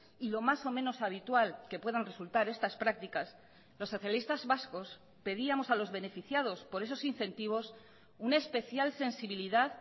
y lo más o menos habitual que puedan resultar estas prácticas los socialistas vascos pedíamos a los beneficiados por esos incentivos una especial sensibilidad